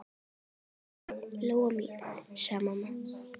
Elsku Lóa-Lóa mín, sagði mamma.